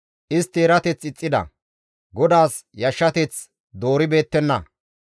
Istti erateth ixxida; GODAAS yashshateth dooribeettenna.